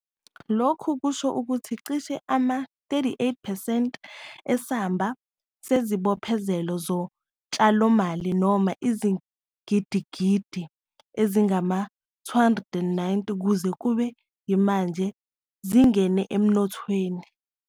Lokhu kusho ukuthi cishe ama-38 percent esamba sezibophezelo zotshalomali - noma izigidigidi ezingama-R290 - kuze kube yimanje zingene emnothweni.